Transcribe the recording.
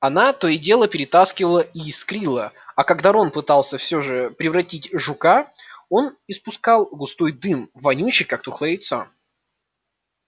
она то и дело потрескивала и искрила а когда рон пытался все же превратить жука он испускал густой дым вонючий как тухлое яйцо